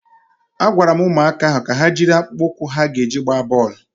A gwara ụmụaka ahụ ka ha jiri akpụkpọ ụkwụ ha ga-eji agba bọọlụ